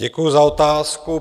Děkuji za otázku.